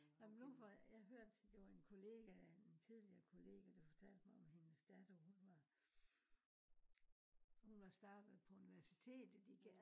ja men nu jeg hørte det var en kollega en tidligere kollega der fortalte om hendes datter hun var hun var startet på universitet igen